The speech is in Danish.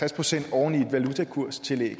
procent oven i et valutakurstillæg